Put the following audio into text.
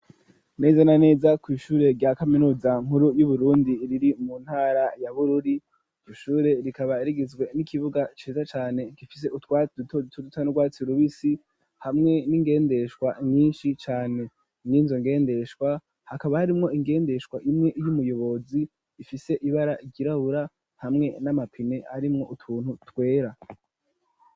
Neza na neza kw'ishure rya kaminuza nkuru y'Uburundi riri mu ntara ya Bururi. Iryo shure rikaba rigizwe n'ikibuga ciza cane gifise utwatsi duto duto dusa n'urwatsi rubisi, hamwe n'ingendeshwa nyinshi cane. Mw'izo ngendeshwa, hakaba harimwo ingendeshwa imwe y'umuyobozi ifise ibara ryirahura hamwe n'amapine arimwo utuntu twera.